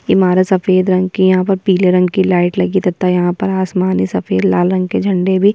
ईमारत सफ़ेद रंग की है यहाँ पर पीले रंग कि लाइट लगी है तथा यहाँ पर आसमान में सफ़ेद लाल रंग के झंडे भी --